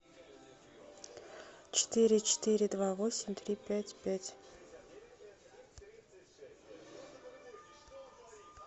четыре четыре два восемь три пять пять